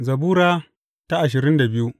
Zabura Sura ashirin da biyu